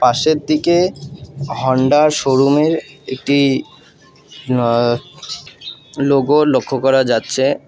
সেদ্দিকে Honda -এর showroom -এর একটি অ্যা লোগো লক্ষ করা যাচ্ছে।